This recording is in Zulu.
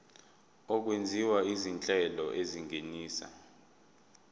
okwenziwa izinhlelo ezingenisa